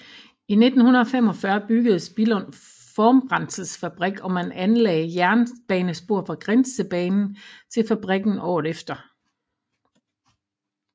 I 1945 byggedes Billund Formbrændselsfabrik og man anlagde jernbanespor fra Grindstedbanen til fabrikken året efter